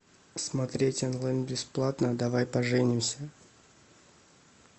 смотреть онлайн бесплатно давай поженимся